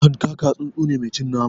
Hanƙaka tsuntsu ne mai cin nama